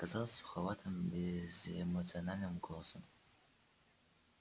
сказал суховатым безэмоциональным голосом